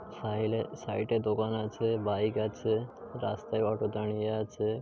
সাহিলে সাইডে দোকান আছে বাইক আছে রাস্তায় অটো দাড়িয়ে আছে।